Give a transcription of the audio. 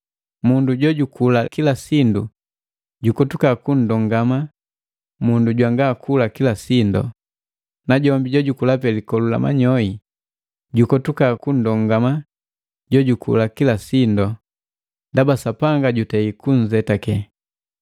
Mundu jojukula kila sindu jukotuka kunndongama mundu jwanga kula kila sindu, najombi jojukula pe likolu la manyoi jukotuka kunndongama jojukula kila sindu, ndaba Sapanga jutei kunnzetake.